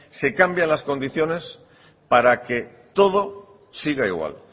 se cambia las condiciones para que todo siga igual